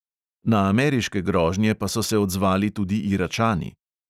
Na ameriške grožnje pa so se odzvali tudi iračani.